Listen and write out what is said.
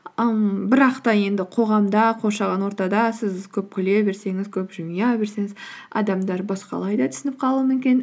ііі бірақ та енді қоғамда қоршаған ортада сіз көп күле берсеңіз көп жымия берсеңіз адамдар басқалай да түсініп қалуы мүмкін